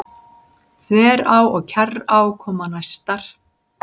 Þverá og Kjarrá koma næstar.